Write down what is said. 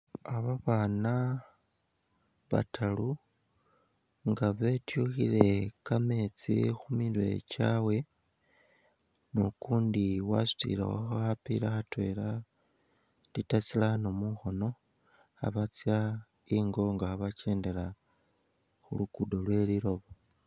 Ah babaana bataru nga betyukhile kameetsi khumirwe kyabwe ni ukundi wasutilekho khapila khatwela litre tsirano mukhono khabatsya ingo nga khabakendela khulugudo lwe liloba